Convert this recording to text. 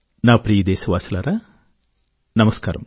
నా ప్రియదేశవాసులారా నమస్కారం